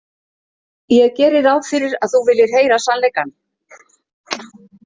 Ég geri ráð fyrir að þú viljir heyra sannleikann.